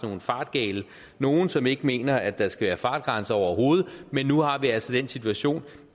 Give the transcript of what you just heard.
nogle fartgale nogen som ikke mener at der skal være fartgrænser overhovedet men nu har vi altså den situation